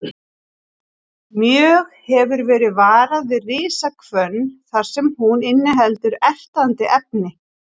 Mjög hefur verið varað við risahvönn þar sem hún inniheldur ertandi efni.